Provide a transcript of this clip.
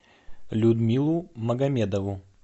людмилу магомедову